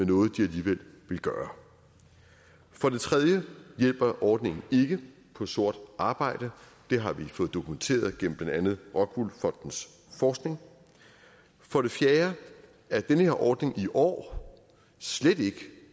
noget de alligevel ville gøre for det tredje hjælper ordningen ikke på sort arbejde det har vi fået dokumenteret gennem blandt andet rockwool fondens forskning for det fjerde er den her ordning i år slet ikke